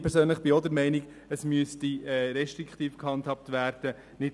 Ich persönlich bin auch der Meinung, dass das Ganze restriktiv gehandhabt werden sollte.